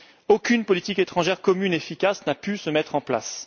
Aucune politique étrangère commune efficace n'a pu se mettre en place.